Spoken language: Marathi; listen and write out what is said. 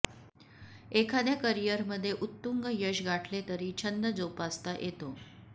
एखाद्या करिअरमध्ये उत्तुंग यश गाठले तरी छंद जोपासता येतो